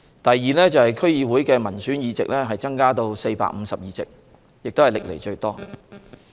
第二，區議會民選議席增至452席，也是歷來最多。